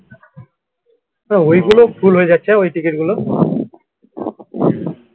তা ওই গুলো full হয়ে যাচ্ছে ওই ticket গুলো